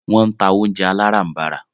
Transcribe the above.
Wọ́n ń ta oúnjẹ aláràm̀barà.